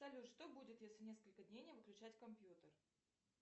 салют что будет если несколько дней не выключать компьютер